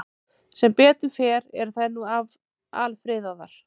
Sem betur fer eru þær nú alfriðaðar.